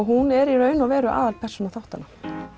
hún er í raun og veru aðalpersóna þáttanna